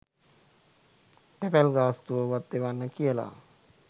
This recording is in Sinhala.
තැපැල් ගාස්තුව වත් එවන්න කියල.